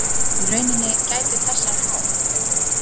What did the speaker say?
Í rauninni gætu þessar há